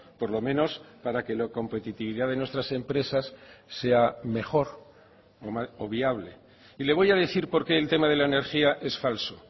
por lo menos para que la competitividad de nuestras empresas sea mejor o viable y le voy a decir por qué el tema de la energía es falso